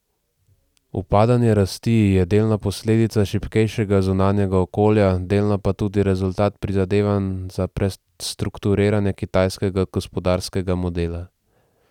Upadanje rasti je delno posledica šibkejšega zunanjega okolja, delno pa tudi rezultat prizadevanj za prestrukturiranje kitajskega gospodarskega modela.